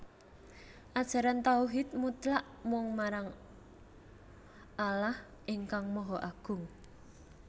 Ajaran tauhid mutlak mung marang Allah ingkang Maha Agung